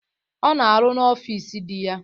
Ọ na arụ n'ọfịs dị ya.